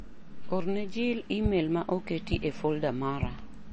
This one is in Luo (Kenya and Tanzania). Orne ne Jil imel ma oketi e foldaa mara.